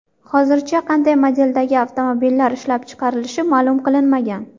Hozircha qanday modeldagi avtomobillar ishlab chiqarilishi ma’lum qilinmagan.